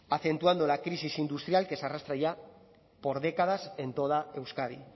acentuando la crisis industrial que se arrastra ya por décadas en toda euskadi